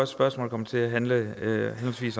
spørgsmål kommer til at handle